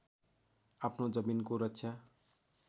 आफ्नो जमिनको रक्षा